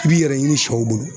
I b'i yɛrɛ ɲini sɛw bolo